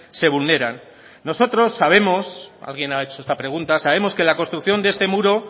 se vulneran nosotros sabemos alguien ha hecho esa pregunta sabemos que la construcción de este muro